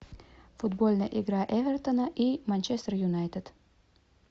футбольная игра эвертона и манчестер юнайтед